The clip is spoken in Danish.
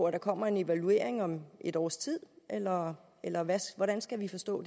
at der kommer en evaluering om et års tid eller eller hvordan skal vi forstå